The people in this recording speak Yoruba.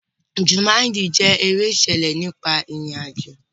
Jumanji jẹ́ eré ìṣẹ̀lẹ̀ nípa ìrìn àjò.